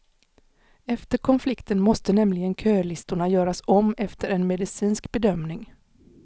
Efter konflikten måste nämligen kölistorna göras om efter en medicinsk bedömning.